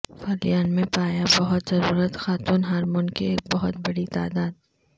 فلیان میں پایا بہت ضرورت خاتون ہارمون کی ایک بہت بڑی تعداد